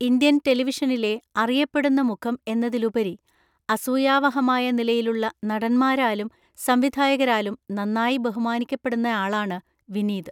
Indian ടെലിവിഷനിലെ അറിയപ്പെടുന്ന മുഖം എന്നതിലുപരി, അസൂയാവഹമായ നിലയിലുള്ള നടന്മാരാലും സംവിധായകരാലും നന്നായി ബഹുമാനിക്കപ്പെടുന്നയാളാണ് വിനീത്.